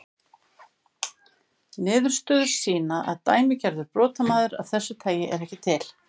Niðurstöður sýna að dæmigerður brotamaður af þessu tagi er ekki til.